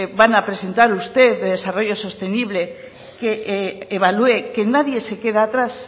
van a presentar usted de desarrollo sostenible que evalué que nadie se queda atrás